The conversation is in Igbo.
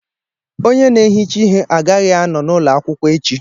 Onye n'ehicha ihé agaghị ànọ n'ụlọ akwụkwọ echi